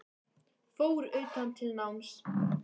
Fór utan til náms